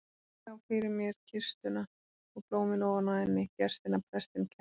Ég sá fyrir mér kistuna og blómin ofan á henni, gestina, prestinn, kertin.